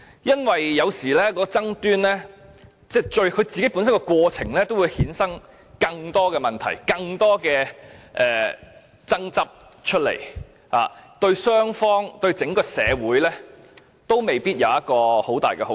因為，有時爭論的過程會衍生出更多問題、更多爭執，對雙方及整個社會都未必有很大的好處。